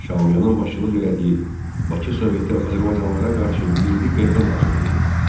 Şaumyanın başçılıq etdiyi Bakı Soveti azərbaycanlılara qarşı milli qırğın hazırlayırdı.